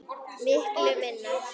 Miklu minna.